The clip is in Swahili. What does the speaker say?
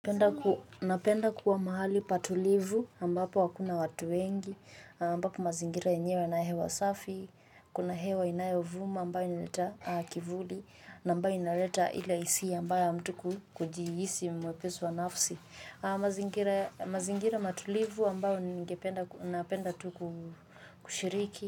Napenda kuwa mahali patulivu ambapo hakuna watu wengi ambapo mazingira yenyewe yana hewa safi kuna hewa inayovuma ambayo inaitwa kivuli na ambayo inaleta ile hisia mbaya ya mtu kujihisi mwepesi wa nafsi. Mazingira mazingira matulivu ambayo ningependa napenda tu kushiriki.